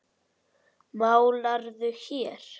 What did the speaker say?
Málarðu hér?